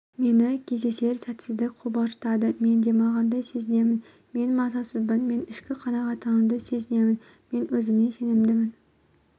мені кездесер сәтсәздәк қобалжытады мен демалғандай сезінемін мен мазасызбын мен ішкі қанағаттануды сезінемін мен өзіме сенімдімін